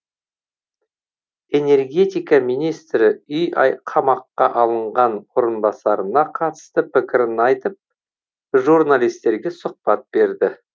энергетика министрі үй қамаққа алынған орынбасарына қатысты пікірін айтып журналистерге сұхбат берді